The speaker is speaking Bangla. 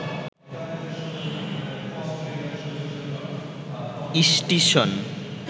ইস্টিশন